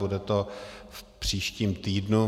Bude to v příštím týdnu.